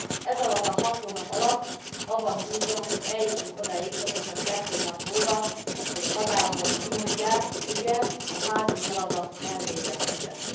Ezalatt a hat hónap alatt, abban bízom, hogy eljutunk odáig, pontosan kettő nap múlva, hogy a tagállamok kimondják, igen, a házi feladat elvégeztetett.